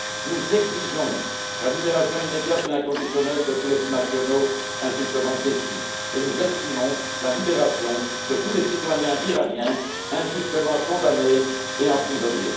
Nous exigeons la libération immédiate et inconditionnelle de tous les binationaux injustement détenus et nous exigeons la libération de tous les citoyens iraniens injustement condamnés et emprisonnés.